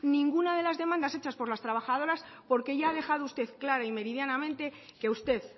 ninguna de las demandas hechas por las trabajadoras porque ya ha dejado usted claro y meridianamente que usted